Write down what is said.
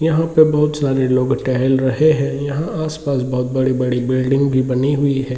यहाँ पे बहुत सारे लोग टेहेल रहे है यहाँ आस-पास बहुत बड़ी-बड़ी बिल्डिंग भी बनी हुई है।